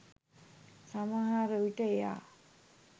සමහර විට එයා